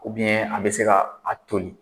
U a bɛ se ka a toli.